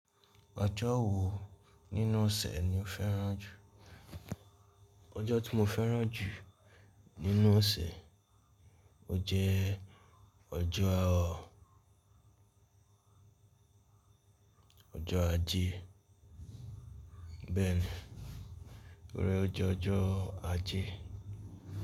Ọjọ́ wo nínú ọ̀sẹ̀ ni o fẹ́ràn jù? Ọjọ́ tí mo fẹ́ràn jù nínú ọ̀sẹ̀, ó jẹ́ ọjọ́ ọjọ́ Ajé, bẹ́ẹ̀ni, to ri ójo ọjọ́ Ajé.